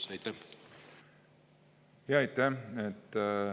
Jaa, aitäh!